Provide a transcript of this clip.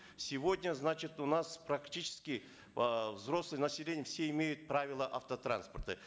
сегодня значит у нас практически э взрослое население все имеют правила автотранспорта